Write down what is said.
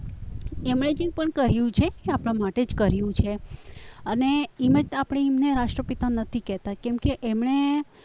એમણે જે પણ કહ્યું છે આપણા માટે જ કર્યું છે અને એમ આપણે એમ જ એમને રાષ્ટ્રપિતા નથી કહેતા કેમકે એમણે